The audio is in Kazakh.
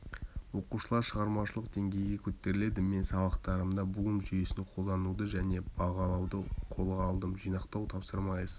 оқушылар шығармашылық деңгейге қөтеріледі мен сабақтарымда блум жүйесін қолдануды және бағалауды қолға алдым жинақтау тапсырма эссе